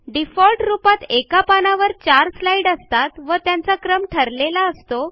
default रूपात एका पानावर चार स्लाईड असतात व त्यांचा क्रम ठरलेला असतो